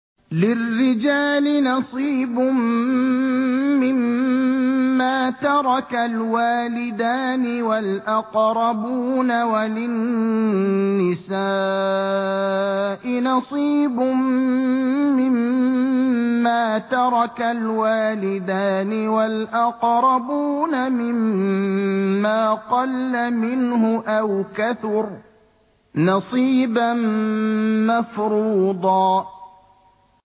لِّلرِّجَالِ نَصِيبٌ مِّمَّا تَرَكَ الْوَالِدَانِ وَالْأَقْرَبُونَ وَلِلنِّسَاءِ نَصِيبٌ مِّمَّا تَرَكَ الْوَالِدَانِ وَالْأَقْرَبُونَ مِمَّا قَلَّ مِنْهُ أَوْ كَثُرَ ۚ نَصِيبًا مَّفْرُوضًا